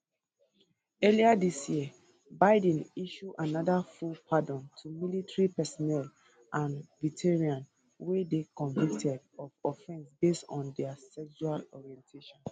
earlier dis year biden issue anoda full pardon to military personnel and veterans wey dey convicted of offence based on dia sexual orientation